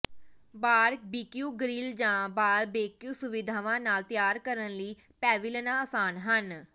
barbecue grill ਜਾਂ barbecue ਸੁਵਿਧਾਵਾਂ ਨਾਲ ਤਿਆਰ ਕਰਨ ਲਈ ਪੈਵਿਲਨਾਂ ਆਸਾਨ ਹਨ